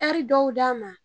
dɔw d'a ma.